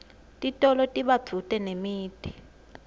titolo tiba sedvute nemiti